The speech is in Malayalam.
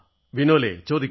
വിനോൽ ചോദിക്കൂ